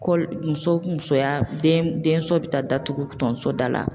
muso musoya den denso bɛ taa datugu tonso da la